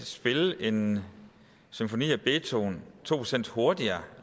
spille en symfoni af beethoven to procent hurtigere